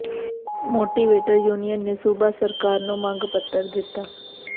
motivator union ਨੇ ਸੂਬਾ ਸਰਕਾਰ ਨੂੰ ਮੰਗ ਪੱਤਰ ਦਿੱਤਾ